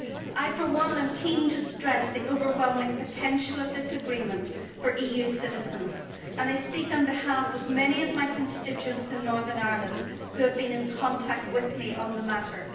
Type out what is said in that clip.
I, for one, am keen to stress the overwhelming potential of this Agreement for EU citizens I speak on behalf of many of my constituents in Northern Ireland who have been in contact with me on the matter.